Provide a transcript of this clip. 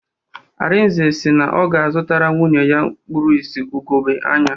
Arinze si na ọ ga-azụtara nwunye ya kpuru ìsì ugogbe anya